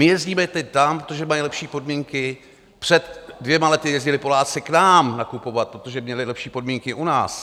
My jezdíme teď tam, protože mají lepší podmínky, před dvěma lety jezdili Poláci k nám nakupovat, protože měli lepší podmínky u nás.